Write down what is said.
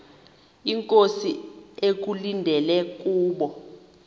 inkosi ekulindele kubo